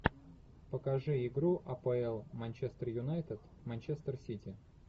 покажи игру апл манчестер юнайтед манчестер сити